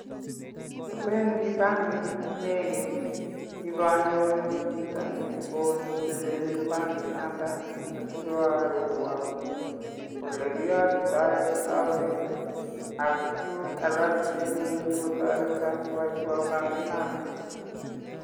Awendi bankit nenekit ipanyoru chito neo netelelchin bankinoton asikoarorwa olekiyatitoi akaunit ak tuguk alak che imuch kotoreto koyaiwo bankinata.